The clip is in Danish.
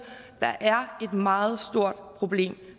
at der er et meget stort problem